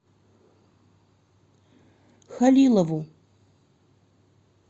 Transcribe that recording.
халилову